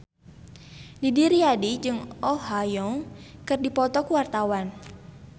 Didi Riyadi jeung Oh Ha Young keur dipoto ku wartawan